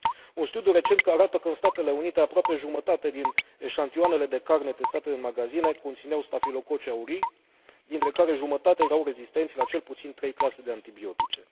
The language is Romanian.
Un studiu recent arată că în Statele Unite aproape jumătate din eșantioanele de carne testate în magazine conțineau stafilococi aurii, dintre care jumătate erau rezistenți la cel puțin trei clase de antibiotice.